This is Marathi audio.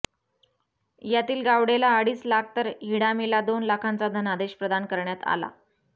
यातील गावडेला अडीच लाख तर हिडामीला दोन लाखांचा धनादेश प्रदान करण्यात आला